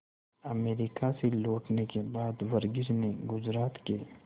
America से लौटने के बाद वर्गीज ने गुजरात के